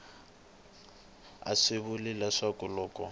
a swi vuli leswaku loko